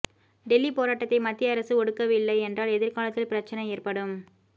டெல்லி போராட்டத்தை மத்திய அரசு ஒடுக்கவில்லை என்றால் எதிர்காலத்தில் பிரச்சனை ஏற்படும்